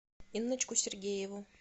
инночку сергееву